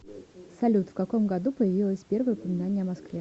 салют в каком году появилось первое упоминание о москве